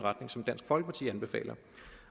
retning som dansk folkeparti anbefaler